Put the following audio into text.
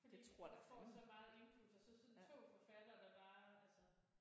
Fordi du får så meget input og så sådan 2 forfattere der bare altså